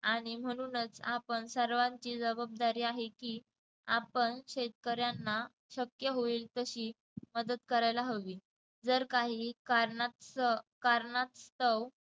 आणि म्हणूनच आपण सर्वांची जबाबदारी आहे की आपण शेतकऱ्यांना शक्य होईल तशी मदत करायला हवी. जर काही कारणास्त कारणास्तव